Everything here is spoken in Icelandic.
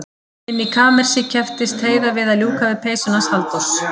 Inni í kamersi kepptist Heiða við að ljúka við peysuna hans Halldórs.